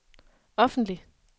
offentlig